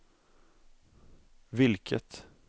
vilket